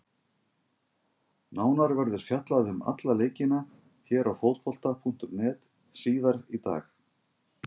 Nánar verður fjallað um alla leikina hér á Fótbolta.net síðar í dag.